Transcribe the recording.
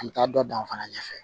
An bɛ taa dɔ dan fana ɲɛfɛ